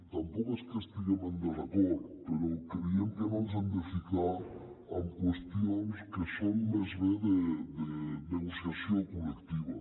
tampoc és que hi estiguem en desacord però creiem que no ens hem de ficar en qüestions que són més aviat de negociació col·lectiva